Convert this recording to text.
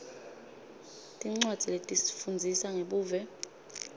tincwadzi letifundzisa ngebuve